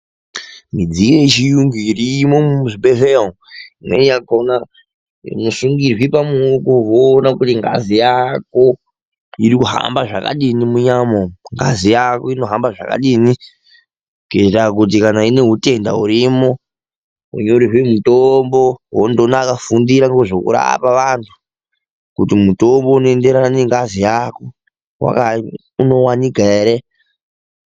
Midziyo yechirungu irimo muzvibhedhleya umu. Imweni yakhona inosungirirwa pamuoko yoona kuti ngazi yako iri kuhamba zvakadini munyana umo. Ngazi yako inohamba zvakadini ngendaa yekuti kana ine utenda urimo, wonyorerwa mutombo, wondoona akafundira ngezvekurapa vantu kuti mutombo unoenderana nengazi yako unowanika ere.